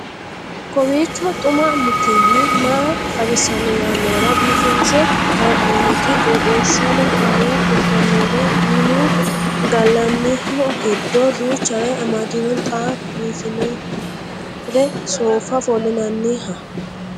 kowiicho xuma mtini maa xawissanno yaannohura biifinse haa'noonniti qooxeessano faayya kultannori minu gallanniho giddo duuchare amadino xa biinfore soofa ofollinnnanniha